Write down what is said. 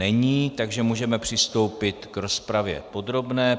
Není, takže můžeme přistoupit k rozpravě podrobné.